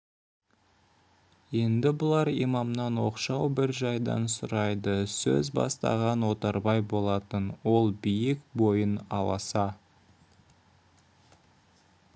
енді бұлар имамнан оқшау бір жайдан сұрайды сөз бастаған отарбай болатын ол биік бойын аласа